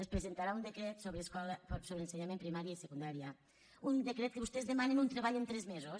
es presenta·rà un decret sobre ensenyament a primària i secundà·ria un decret que vostès demanen un treball en tres me·sos